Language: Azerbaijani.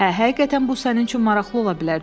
Hə, həqiqətən bu sənin üçün maraqlı ola bilər.